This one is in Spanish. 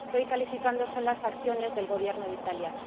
Lo que estoy calificando son las acciones del Gobierno de Italia.